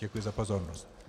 Děkuju za pozornost.